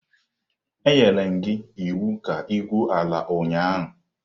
Anyere m gi iwu ka igwuo ala ụnyahụ!